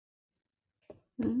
Blunda elsku barnið í ró.